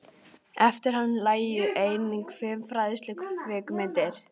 Eftir hann lægju einnig fimm fræðslukvikmyndir.